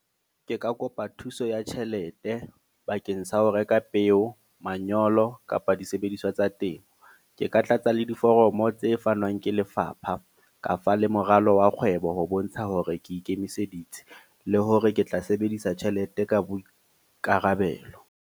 Ke ka kopa thuso ya tjhelete, bakeng sa ho reka peo, manyolo kapa disebediswa tsa temo. Ke ka tlatsa le diforomo tse fanwang ke lefapha. Kafa le moralo wa kgwebo ho bontsha hore ke ikemiseditse. Le hore ke tla sebedisa tjhelete ka boikarabelo.